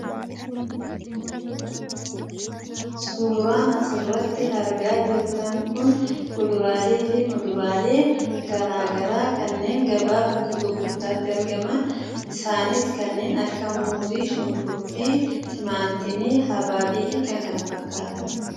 Suuraan asirratti argaa jirtan kun kuduraalee fi muduraalee garaagaraa kanneen gabaa bakka gurgurtaatti argaman isaanis kanneen akka muuzii, qullubbii, timaatimii, habaabii fi kan kana fakkaatan.